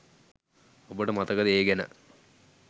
ඔබට මතකද ඒ ගැන